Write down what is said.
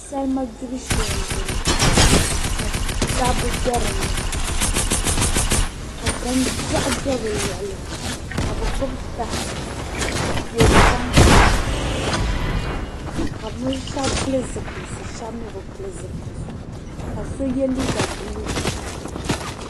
salima gibu shee m-bɔŋɔ ka dabba be di ni ka ko' biɛɣu do bɛ luɣili ka bɛ gbubi taha n-toori tankpaɣu maa ka bɛ shɛba pili zipiliti shɛba mi bi pili zipiliti ka so ye liiga buluu